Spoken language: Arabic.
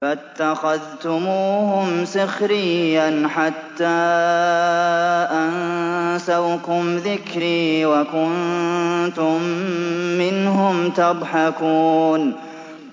فَاتَّخَذْتُمُوهُمْ سِخْرِيًّا حَتَّىٰ أَنسَوْكُمْ ذِكْرِي وَكُنتُم مِّنْهُمْ تَضْحَكُونَ